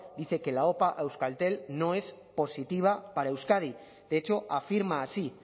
dice que la opa a euskaltel no es positiva para euskadi de hecho afirma así